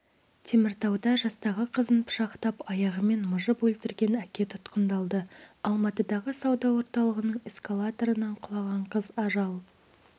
теміртауда жастағы қызын пышақтап аяғымен мыжып өлтірген әке тұтқындалды алматыдағы сауда орталығының эскалаторынан құлаған қыз ажал